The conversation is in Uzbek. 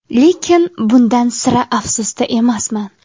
Lekin bundan sira afsusda emasman.